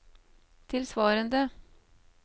tilsvarende